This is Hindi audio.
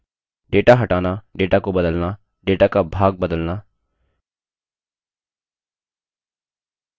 data हटाना data को बदलना data का भाग बदलना